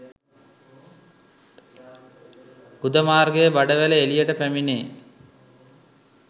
ගුද මාර්ගයේ බඩවැල එළියට පැමිණේ.